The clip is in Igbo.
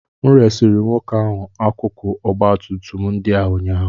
M resịrị nwoke ahụ akụkụ ọgba tum tum ndị a ụnyaahụ